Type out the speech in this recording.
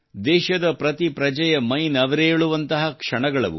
ದೇಶದ ಪ್ರತಿ ಪ್ರಜೆಯ ಮೈನವಿರೇಳುವಂತಹ ಕ್ಷಣಗಳವು